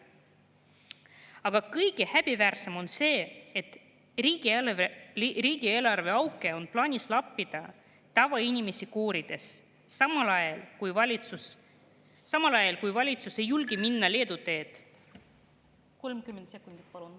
Aga kõige häbiväärsem on see, et riigieelarve auke on plaanis lappida tavainimesi koorides, samal ajal, kui valitsus ei julge minna näiteks Leedu teed …